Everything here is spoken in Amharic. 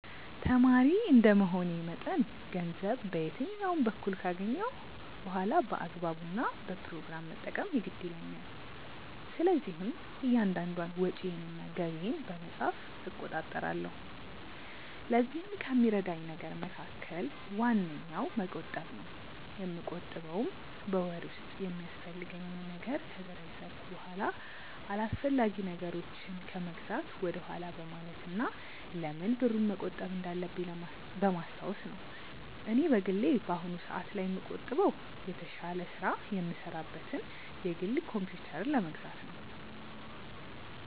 ተማሪ እንደመሆኔ መጠን ገንዘብ በየትኛውም በኩል ካገኘሁ በኋላ በአግባቡ እና በፕሮግራም መጠቀም የግድ ይለኛል። ስለዚህም እያንዳንዷን ወጪዬን እና ገቢዬን በመጻፍ እቆጣጠራለሁ። ለዚህም ከሚረዳኝ ነገር መካከል ዋነኛው መቆጠብ ነው። የምቆጥበውም በወር ውስጥ የሚያስፈልገኝን ነገር ከዘረዘርኩ በኋላ አላስፈላጊ ነገሮችን ከመግዛት ወደኋላ በማለት እና ለምን ብሩን መቆጠብ እንዳለብኝ በማስታወስ ነው። እኔ በግሌ በአሁኑ ሰአት ላይ የምቆጥበው የተሻለ ስራ የምሰራበትን የግል ኮምፕዩተር ለመግዛት ነው።